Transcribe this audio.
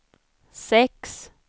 sex